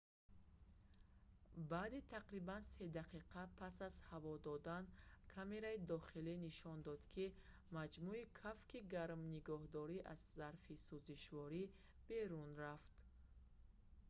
баъди тақрибан 3 дақиқа пас аз ҳаво додан камераи дохилӣ нишон дод ки маҷмӯи кафки гарминигоҳдор аз зарфи сузишворӣ берун рафт